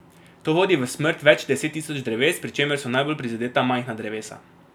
To vodi v smrt več deset tisoč dreves, pri čemer so najbolj prizadeta majhna drevesa.